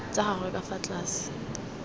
tsa gagwe ka fa tlase